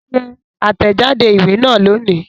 Ṣe àtẹ̀jáde ìwé náà lónìí